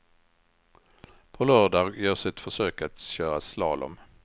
På lördag görs ett försök att köra slalom.